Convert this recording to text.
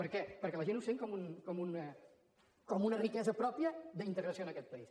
per què perquè la gent ho sent com una riquesa pròpia d’integració en aquest país